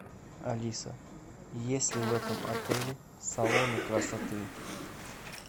алиса есть ли в этом отеле салоны красоты